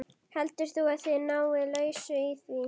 Heldur þú að þið náið lausn í því?